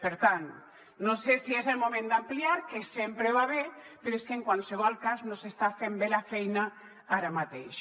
per tant no sé si és el moment d’ampliar que sempre va bé però és que en qualsevol cas no s’està fent bé la feina ara mateix